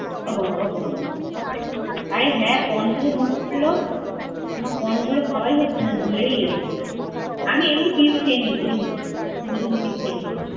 ওহ হো ওহ হো হো আরে হ্যাঁ corn থেকে মনে পরলো আমার corn গুলো খাওয়ায় হচ্ছে না। আমি ভুলেই যাচ্ছি । আমি এমনি cheese খেয়ে নিয়েছি জানিস? শুধু শুধু cheese খেয়ে নিয়েছি।